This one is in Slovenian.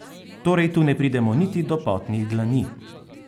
Torej tu ne pridemo niti do potnih dlani.